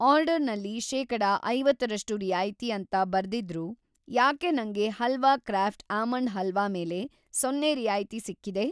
ಆರ್ಡರ್‌ನಲ್ಲಿ ಶೇಕಡ ಐವತ್ತರಷ್ಟು ರಿಯಾಯಿತಿ ಅಂತ ಬರೆದಿದ್ರೂ ಯಾಕೆ ನಂಗೆ ಹಲ್ವಾ ಕ್ರಾಫ಼್ಟ್ ಆಮಂಡ್ ಹಲ್ವಾ ಮೇಲೆ ಸೊನ್ನೆ ರಿಯಾಯಿತಿ‌ ಸಿಕ್ಕಿದೆ?